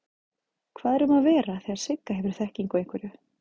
Hvað er um að vera þegar Sigga hefur þekkingu á einhverju?